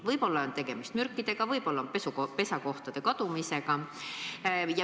Võib-olla on põhjuseks mürgid, võib-olla pesakohtade kadumine.